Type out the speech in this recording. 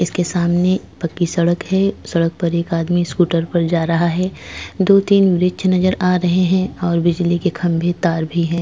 इसके सामने पक्की सड़क है सड़क पर एक आदमी स्कूटर पर जा रहा है दो-तीन वृक्ष नजर आ रहे हैं और बिजली के खंभे तार भी।